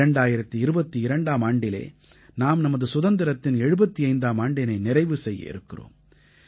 2022ஆம் ஆண்டிலே நாம் நமது சுதந்திரத்தின் 75ஆம் ஆண்டினை நிறைவு செய்ய இருக்கிறோம்